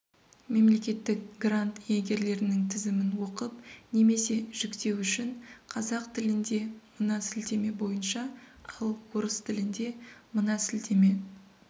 мемлекеттік грант иегерлерінің тізімін оқып немесе жүктеу үшін қазақ тіліндемына сілтеме бойынша ал орыс тіліндемына сілтеме